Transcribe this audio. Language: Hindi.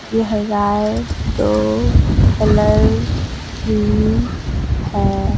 यह गाय दो कलर की है।